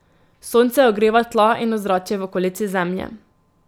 Sonce ogreva tla in ozračje v okolici Zemlje.